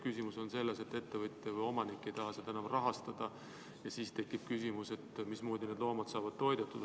Küsimus on selles, et ettevõtja või omanik ei taha seda enam rahastada ja siis tekib küsimus, mismoodi need loomad saavad toidetud.